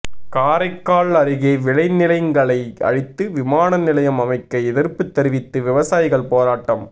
காரைக்கால் அருகே விளைநிலங்களை அழித்து விமானநிலையம் அமைக்க எதிர்ப்பு தெரிவித்து விவசாயிகள் போராட்டம்